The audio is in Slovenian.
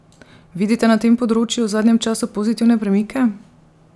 Vidite na tem področju v zadnjem času pozitivne premike?